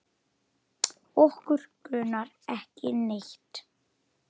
Okkur grunar ekki neitt.